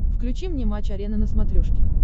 включи мне матч арена на смотрешке